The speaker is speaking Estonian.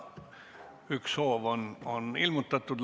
Üks soov on ilmutatud.